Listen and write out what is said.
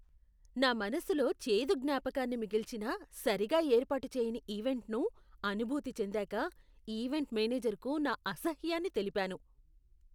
నా మనసులో చేదు జ్ఞాపకాన్ని మిగిల్చిన సరిగా ఏర్పాటు చేయని ఈవెంట్ను అనుభూతి చెందాక ఈవెంట్ మేనేజర్కు నా అసహ్యాన్ని తెలిపాను.